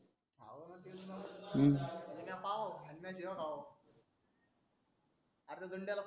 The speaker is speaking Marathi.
हव न म्हणजे म्या पाहाव आणि म्या शिव्या खाव अर धूनड्या लोकच्या